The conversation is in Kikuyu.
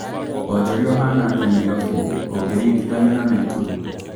Wonjoria ũhanatia Nairobi ũngiringîthanîa na Nakuru